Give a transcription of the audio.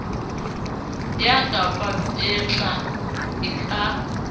ya ka papetla e ka